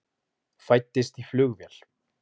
Fæddist í flugvél